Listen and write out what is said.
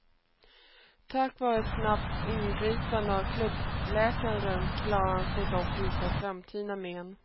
Tack vare ett snabbt ingripande av klubbläkaren klarar han sig dock utan framtida men.